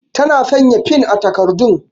Ta na sanya fin a takardun